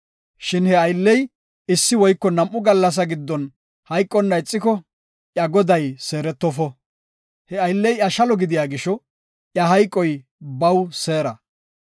Shin he aylley issi woyko nam7u gallasa giddon hayqonna ixiko, iya goday seeretofo. He aylley iya shalo gidiya gisho iya hayqoy baw seera.